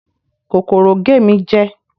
Kòkòrò gé mi jẹ